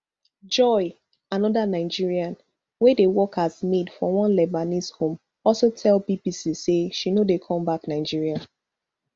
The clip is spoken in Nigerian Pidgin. joy anoda nigerian wey dey work as maid for one lebanese home also tell bbc say she no dey come back nigeria